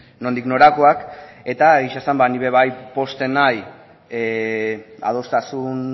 nondik norakoak eta egia esan ba ni be bai pozten naiz adostasun